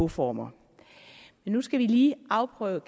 former men nu skal vi lige afprøve